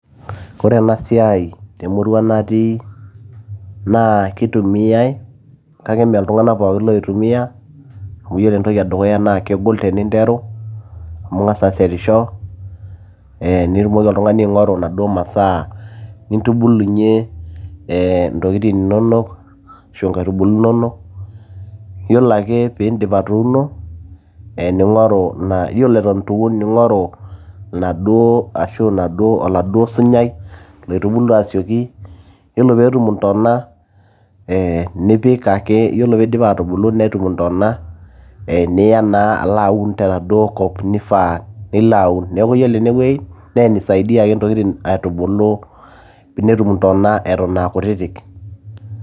Ore enasiai temurua natii na keitumiai kake mee ltunganak pookin oitumia amu iyolo entoki edukuya na kegol eninteru amu ingasa ashetisho ee nitumoki oltungani aingoru masaa nintubulunye ntokitin inonok arashu nkaitubulu inono, yiolo ake piindip atuuno, ee ningoru e yiolo ituun ningoru naduo ashu oladuo sunyai loitubulu asioki yiolo petum ntana e nipik ake ore petum intona e niya alo aun tenaduo kop naifaa nilo aun. Neaku iyolo enewueji na inasaidia ake ntokitin aitubulu peetum intona atan a kutitik.